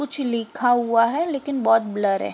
कुछ लिखा हुआ हैं लेकिन बहुत ब्लर है।